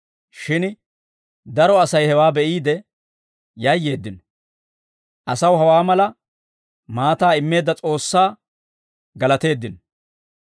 Shin daro Asay hewaa be'iide yayyeeddino; asaw hawaa mala maataa immeedda S'oossaa galateeddino.